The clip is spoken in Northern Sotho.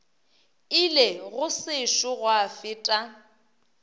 ile go sešo gwa feta